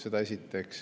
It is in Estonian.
Seda esiteks.